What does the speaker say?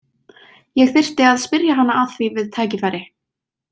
Ég þyrfti að spyrja hana að því við tækifæri.